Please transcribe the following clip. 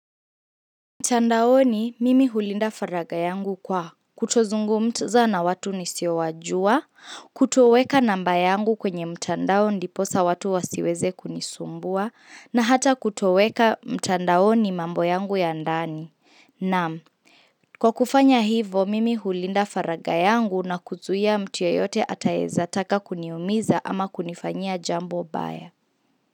Mtandaoni mimi hulinda faraga yangu kwa kutozungumza na watu nisiowajua, kutoweka namba yangu kwenye mtandao ndiposa watu wasiweze kunisumbua, na hata kutoweka mtandaoni mambo yangu ya ndani. Naam, kwa kufanya hivo mimi hulinda faraga yangu na kuzuia mtu yeyote atayeza taka kuniumiza ama kunifanya jambo mbaya.